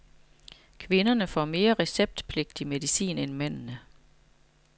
Kvinderne får mere receptpligtig medicin end mændene.